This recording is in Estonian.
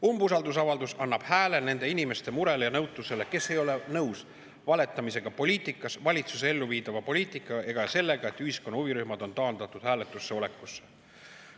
Umbusaldusavaldus annab hääle nende inimeste murele ja nõutusele, kes ei ole nõus valetamisega poliitikas, valitsuse elluviidava poliitika ega sellega, et ühiskonna huvirühmad on taandatud hääletusse olekusse.